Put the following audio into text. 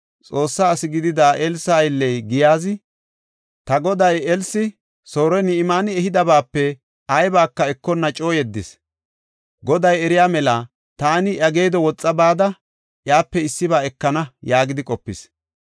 Xoossa asi gidida Elsa aylley Giyaazi, “Ta goday, Elsi Soore Ni7imaani ehidabaape aybaka ekonna coo yeddis. Goday eriya mela, taani iya geedo woxa bada, iyape issiba ekana” yaagidi qopis.